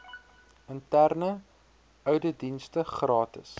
interne ouditdienste gratis